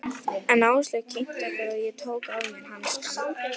En Áslaug kynnti okkur og ég tók af mér hanskana.